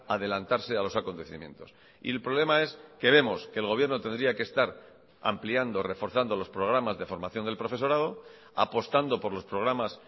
adelantarse a los acontecimientos y el problema es que vemos que el gobierno tendría que estar ampliando reforzando los programas de formación del profesorado apostando por los programas